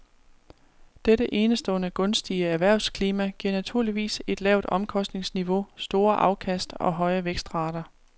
Dette enestående gunstige erhvervsklima giver naturligvis et lavt omkostningsniveau, store afkast og høje vækstrater.